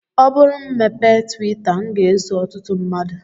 Ọ bụrụ m mepee twita m ga-eso ọtụtụ mmadụ